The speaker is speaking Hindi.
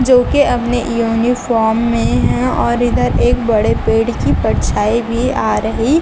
जो कि अपने यूनिफॉर्म में है और इधर एक बड़े पेड़ की परछाई भी आ रही--